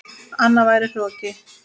Annað væri hroki.